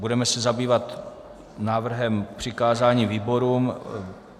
Budeme se zabývat návrhem přikázání výborům.